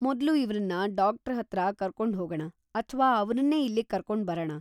ಮೊದ್ಲು ಇವ್ರನ್ನ ಡಾಕ್ಟ್ರ ಹತ್ರ ಕರ್ಕೊಂಡ್ಹೋಗಣ ಅಥ್ವಾ ಅವ್ರನ್ನೇ ಇಲ್ಲಿಗ್‌ ಕರ್ಕೊಂಡ್‌ ಬರಣ.